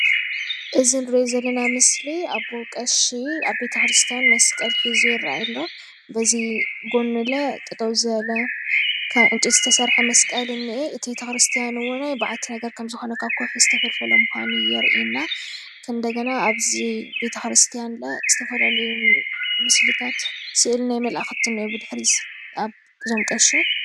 እዚ እንሪኦ ዘለና ምስሊ አቦቀሺአብ ቤተክርስቲያን መስቀል ሒዙ ይረአይ አሎ። በዚ ጎኑ ለ ጠጠው ዝበለ ካብ ዕንጨይቲ ዝተሰርሐ መስቀል እኒሀ እቲ ቤት ክርስቲያን እውን በዓቲ ነገር ካብ ከውሒ ዝተፈልፈለ ምኳኑ የርእየና እንደገና እብዚ ቤተ ክርስቲያን ለ ዝተፈላለዩ ምስልታት ስእሊ ናይ መላእክቲ እኒኦ ብድሕሪት አብዞም ቀሺ።